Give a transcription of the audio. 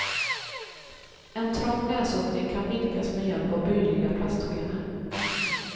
En trång näsöppning kan vidgas med hjälp av böjliga plastskenor.